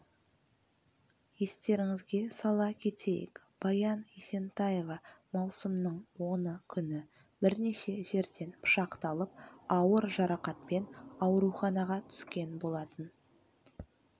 естеріңізге сала кетейік баян есентаева маусымның оны күні бірнеше жерден пышақталып ауыр жарақатпен ауруханаға түскен болатын